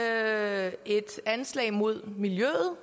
er et anslag imod miljøet